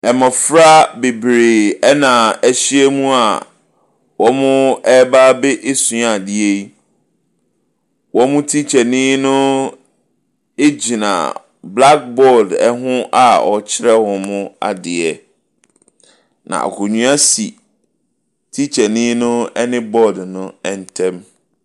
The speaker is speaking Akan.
Mmɔfra bebree ɛna ɛhyiamua ɔrebesua adeɛ yi. Wɔn teachernii no gyina black board ɛho a ɔrekyerɛ wɔn adeɛ. Na akonwa si teachernii no ɛne baord no ntɛm.